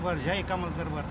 жай камаздар бар